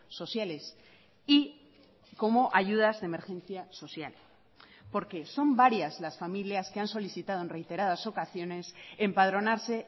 sociales y como ayudas de emergencia social porque son varias las familias que han solicitado en reiteradas ocasiones empadronarse